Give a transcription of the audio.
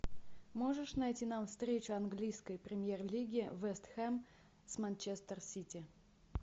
можешь найти нам встречу английской премьер лиги вест хэм с манчестер сити